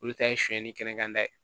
Olu ta ye sonyɛli kɛ kɛnɛya ta ye